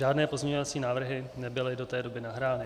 Žádné pozměňovací návrhy nebyly do té doby nahrány.